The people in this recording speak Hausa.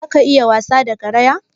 Zaka iya wasa da garaya?